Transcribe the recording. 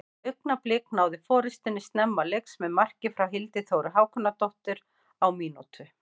Augnablik náðu forystunni snemma leiks með marki frá Hildi Þóru Hákonardóttur á mínútu.